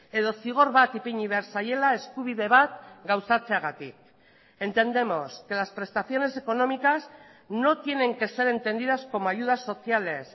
edo zigor bat ipini behar zaiela eskubide bat gauzatzeagatik entendemos que las prestaciones económicas no tienen que ser entendidas como ayudas sociales